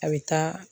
A bɛ taa